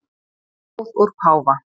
Blóð úr páfa